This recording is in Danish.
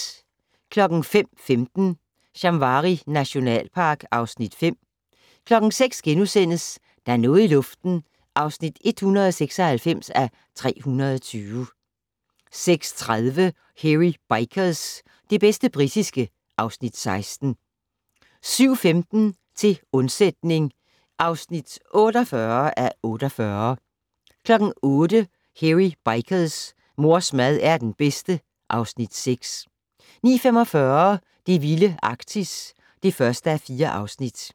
05:15: Shamwari nationalpark (Afs. 5) 06:00: Der er noget i luften (196:320)* 06:30: Hairy Bikers - det bedste britiske (Afs. 16) 07:15: Til undsætning (48:48) 08:00: Hairy Bikers: Mors mad er den bedste (Afs. 6) 09:45: Det vilde Arktis (1:4)